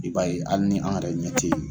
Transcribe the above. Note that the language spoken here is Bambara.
I b'a ye hali ni an yɛrɛ ɲɛ te yen